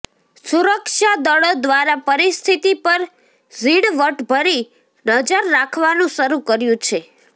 સુરક્ષાદળો દ્વારા પરિસ્થિતિ પર ઝીણવટભરી નજર રાખવાનું શરૂ કર્યું છે